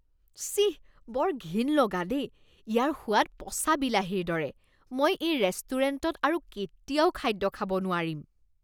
ছিঃ! বৰ ঘিণ লগা দেই! ইয়াৰ সোৱাদ পচা বিলাহীৰ দৰে, মই এই ৰেষ্টুৰেণ্টত আৰু কেতিয়াও খাদ্য খাব নোৱাৰিম।